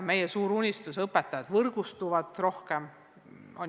Meie suur unistus – õpetajad võrgustuvad aina rohkem.